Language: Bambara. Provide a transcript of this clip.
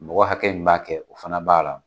Mɔgɔ hakɛ min b'a kɛ o fana b'a la